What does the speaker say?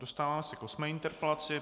Dostáváme se k osmé interpelaci.